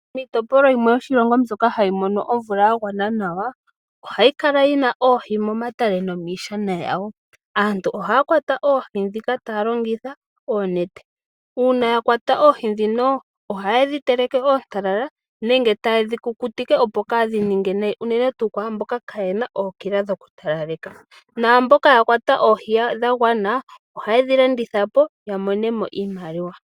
Miitopolwa yimwe yoshilongo mbyoka hayi mono omvula ya gwana nawa ohayi kala yi na oohi momatale nomishana yawo. Aantu ohaya kwata oohi dhika taya longitha onete, una ya kwata oohi dhino ohaye dhi teleke ontalala nenge taye dhi kukutike opo kadhi ninge nayi unene tu kwamboka kayena ookila dhokutalaleka, namboka ya kwata oohi dha gwana ohaye dhi landithapo ya monemo iimaliwa.